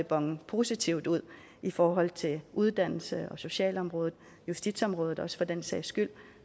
bone positivt ud i forhold til uddannelse og socialområdet justitsområdet også for den sags skyld